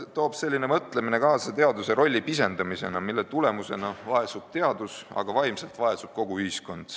Selline mõtlemine toob kaasa teadlase rolli pisendamise, mille tulemusena vaesub teadus, aga vaimselt vaesub ka kogu ühiskond.